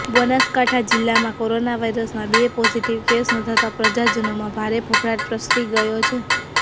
બનાસકાંઠા જિલ્લામાં કોરોના વાયરસના બે પોઝિટિવ કેસ નોંધાતા પ્રજાજનોમાં ભારે ફફડાટ પ્રસરી ગયો છે